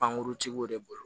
Pankuruntigiw de bolo